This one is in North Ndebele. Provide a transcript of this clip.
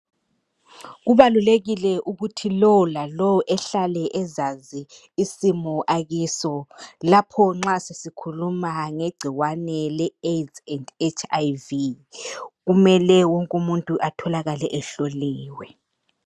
Kubalulekile ukuthi lowo lalowo ehlale ezazi isimo akuso lapho nxa sesikhuluma ngegcikwane le HIV and Aids kumele wonke umuntu atholakale ehloliwe.